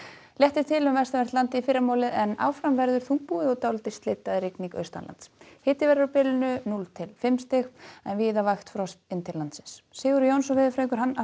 léttir til um vestanvert landið í fyrramálið en áfram verður þungbúið og dálítil slydda eða rigning austanlands hiti verður á bilinu núll til fimm stig en víða vægt frost inn til landsins Sigurður Jónsson veðurfræðingur